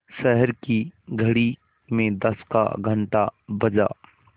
शहर की घड़ी में दस का घण्टा बजा